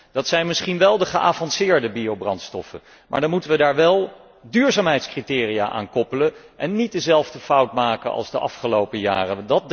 Dat zijn misschien wel de geavanceerde biobrandstoffen, maar dan moeten we daar wel duurzaamheidscriteria aan koppelen en niet dezelfde fout maken als de afgelopen jaren.